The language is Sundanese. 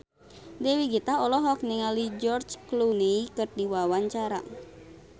Dewi Gita olohok ningali George Clooney keur diwawancara